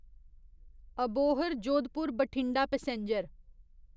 Abohar Jodhpur Bathinda passenger